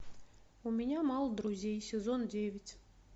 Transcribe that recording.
у меня мало друзей сезон девять